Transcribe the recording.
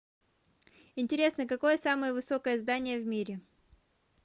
интересно какое самое высокое здание в мире